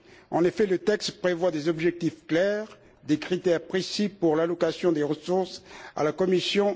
En effet, le texte prévoit des objectifs clairs et des critères précis pour l'allocation des ressources à la Commission.